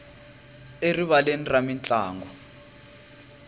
erivaleni ra mintlangu